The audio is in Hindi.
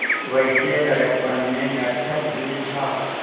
वैसे लड़कपन में नटखट भी था